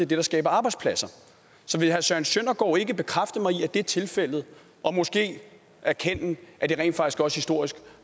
det der skaber arbejdspladser så vil herre søren søndergaard ikke bekræfte mig i at det er tilfældet og måske erkende at det rent faktisk også historisk